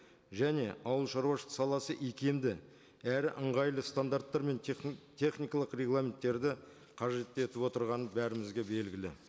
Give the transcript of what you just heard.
және ауыл шаруашылық саласы икемді әрі ыңғайлы стандарттар мен техникалық регламенттерді қажет етіп отырғаны бәрімізге белгілі